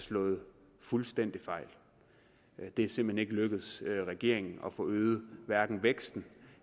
slået fuldstændig fejl det er simpelt lykkedes regeringen at få øget væksten